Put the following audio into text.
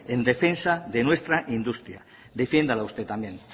en defensa de nuestra industria defiéndala usted también